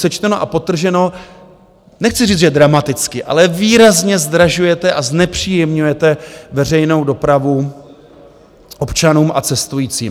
Sečteno a podtrženo, nechci říct, že dramaticky, ale výrazně zdražujete a znepříjemňujete veřejnou dopravu občanům a cestujícím.